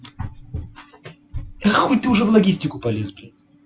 нахуй ты уже в логистику полез блять